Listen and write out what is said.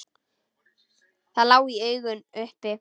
Það lá í augum uppi.